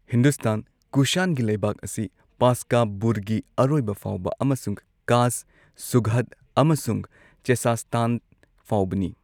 ꯍꯤꯟꯗꯨꯁꯇꯥꯟ, ꯀꯨꯁꯥꯟꯒꯤ ꯂꯩꯕꯥꯛ ꯑꯁꯤ, ꯄꯥꯁꯀꯥꯕꯨꯔꯒꯤ ꯑꯔꯣꯏꯕ ꯐꯥꯎꯕ ꯑꯃꯁꯨꯡ ꯀꯥꯁ, ꯁꯨꯘꯗ ꯑꯃꯁꯨꯡ ꯆꯦꯆꯁꯇꯥꯟ ꯐꯥꯎꯕꯅꯤ꯫